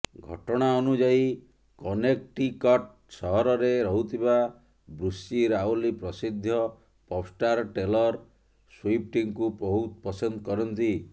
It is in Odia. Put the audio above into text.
ଘଟଣା ଅନୁଯାୟୀ କନେକ୍ଟିକଟ ସହରରେ ରହୁଥିବା ବ୍ରୁସି ରାଓ୍ବଲି ପ୍ରସିଦ୍ଧ ପପ୍ଷ୍ଟାର ଟେଲର ସ୍ୱିପ୍ଟଙ୍କୁ ବହୁତ ପସନ୍ଦ କରନ୍ତି